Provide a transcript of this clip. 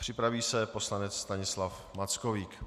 Připraví se poslanec Stanislav Mackovík.